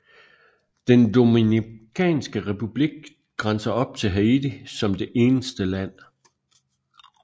Den Dominikanske Republik grænser op til Haiti som det eneste land